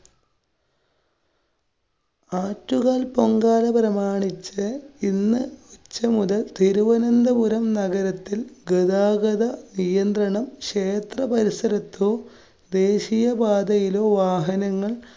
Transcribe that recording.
ആറ്റുകാല്‍ പൊങ്കാല പ്രമാണിച്ച് ഇന്ന് ഉച്ച മുതല്‍ തിരുവനന്തപുരം നഗരത്തില്‍ ഗതാഗത നിയന്ത്രണം. ക്ഷേത്ര പരിസരത്തോ ദേശീയപാതയിലോ വാഹനങ്ങള്‍